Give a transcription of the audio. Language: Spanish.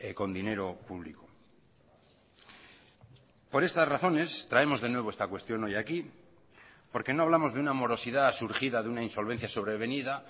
con dinero público por estas razones traemos de nuevo esta cuestión hoy aquí porque no hablamos de una morosidad surgida de una insolvencia sobrevenida